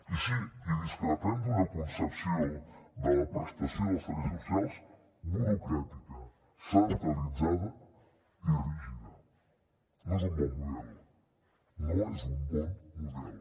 i sí en discrepem d’una concepció de la prestació dels serveis socials burocràtica centralitzada i rígida no és un bon model no és un bon model